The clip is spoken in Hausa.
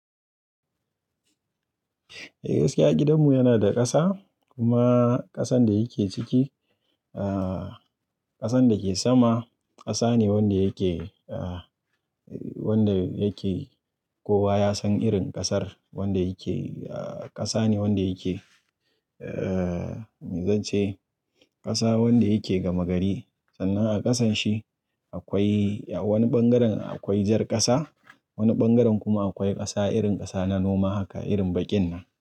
Eh gaskiya gidanmu yana da ƙasa kuma ƙasan da yake ciki, aah ƙasan da ke sama ƙasa ne wanda yake aah wanda yake kowa ya san irin ƙasar wanda yake aah ƙasa ne wanda yake. Eh zan ce ƙasa wanda yake gama gari sannan a ƙasan shi akwai wani ɓangaren akwai jar ƙasa, wani ɓangaren kuma akwai ƙasa irin ƙasa na noma haka irin baƙin nan.